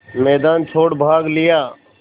मैदान छोड़ भाग लिया